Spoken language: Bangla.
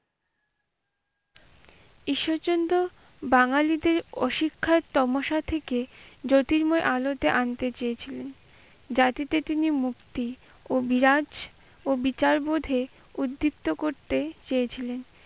ঈশ্বষচন্দ্র বাঙ্গালীদের অশিক্ষার তামাশা থেকে জ্যোতির্ময় আলোতে আনতে চেয়েছিল। জাতিতে তিনি মুক্তি ও বিরাজ ও বিচার বোধে উদ্দীপ্ত করতে চেয়েছিলেন।